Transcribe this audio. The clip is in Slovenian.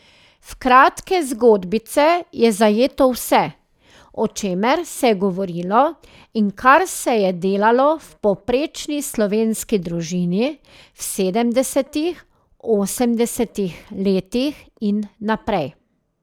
V kratke zgodbice je zajeto vse, o čemer se je govorilo in kar se je delalo v povprečni slovenski družini v sedemdesetih, osemdesetih letih in naprej.